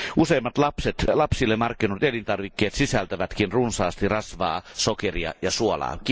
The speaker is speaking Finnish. Useimmat lapsille markkinoidut elintarvikkeet sisältävätkin runsaasti rasvaa, sokeria ja suolaa.